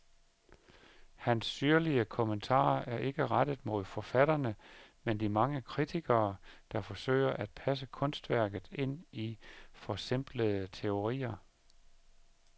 Hans syrlige kommentarer er ikke rettet mod forfatterne, men de mange kritikere, der forsøger at passe kunstværket ind i forsimplende teorier.